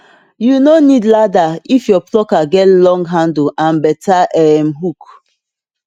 you no need ladder if your plucker get long handle and better um hook